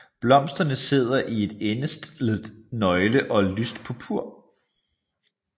Blomsterne sidder i et endestllet nøgle og er lyst purpur